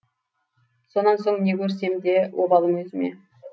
сонан соң не көрсем де обалым өзіме